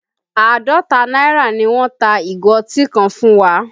Àádọ́ta náírà ni wọ́n ta ìgò ọtí ká fún wa